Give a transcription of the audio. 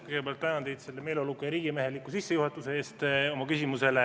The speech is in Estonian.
Kõigepealt tänan teid selle meeleoluka ja riigimeheliku sissejuhatuse eest.